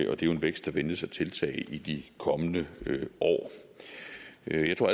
og det er en vækst der ventes at tiltage i de kommende år jeg tror